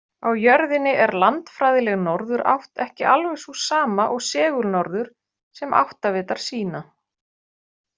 Á jörðinni er landfræðileg norðurátt ekki alveg sú sama og segulnorður sem áttavitar sýna.